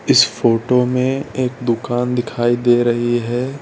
इस फोटो में एक दुकान दिखाई दे रही है।